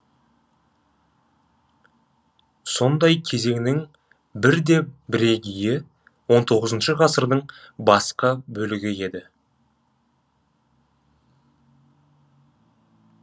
сондай кезеңнің бір де бірегейі он тоғызыншы ғасырдың басқы бөлігі еді